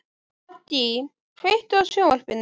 Maggý, kveiktu á sjónvarpinu.